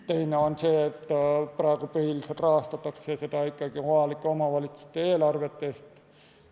Teine on see, et praegu põhiliselt rahastatakse ikkagi seda kohaliku omavalitsuse eelarvest.